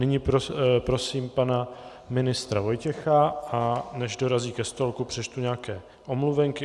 Nyní prosím pana ministra Vojtěcha, a než dorazí ke stolku, přečtu nějaké omluvenky.